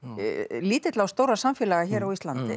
lítilla og stórra samfélaga hér á Íslandi